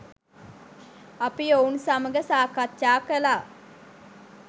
අපි ඔවුන් සමග සාකච්ජා කළා